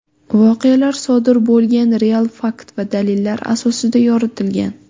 Voqealar sodir bo‘lgan real fakt va dalillar asosida yoritilgan.